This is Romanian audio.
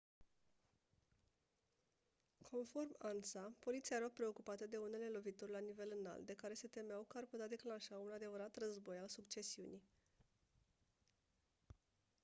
conform ansa «poliția era preocupată de unele lovituri la nivel înalt de care se temeau că ar putea declanșa un adevărat război al succesiunii».